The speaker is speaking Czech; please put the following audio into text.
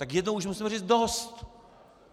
Tak jednou už musíme říct dost!